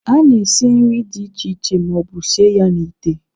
A na-esi nri dị iche iche ma ọ bụ sie ya n'ite.